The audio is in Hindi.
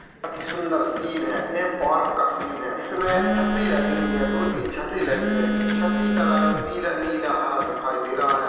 अतिसुन्दर सीन हैं ये पार्क का सीन हैं इसमे आई हुई हैं दो तीन छतरी लगी हुई हैं छतरी का रंग पीला नीला हरा दिखाई दे रहा हैं।